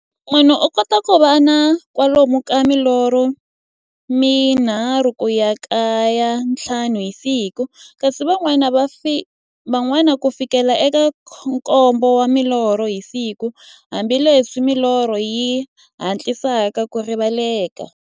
Munhu u kota ku va na kwalomu ka milorho mi nharhu ku ya ka ya nthlanu hi siku, kasi van'wana ku fikela eka nkombo wa milorho hi siku, hambileswi milorho yi hatlisaka ku rivaleka.